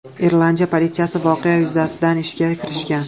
Irlandiya politsiyasi voqea yuzasidan ishga kirishgan.